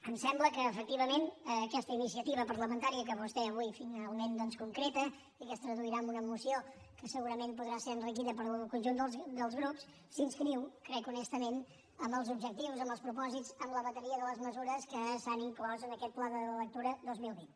em sembla que efectivament aquesta iniciativa parlamentària que vostè avui finalment doncs concreta i que es traduirà en una moció que segurament podrà ser enriquida pel conjunt dels grups s’inscriu crec honestament en els objectius en els propòsits en la bateria de les mesures que s’han inclòs en aquest pla de la lectura dos mil vint